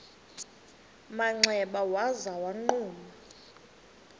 manxeba waza wagquma